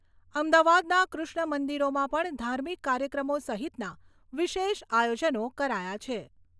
અમદાવાદના કૃષ્ણમંદિરોમાં પણ ધાર્મિક કાર્યક્રમો સહિતના વિશેષ આયોજનો કરાયા છે.